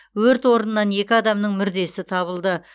өрт орнынан екі адамның мүрдесі табылды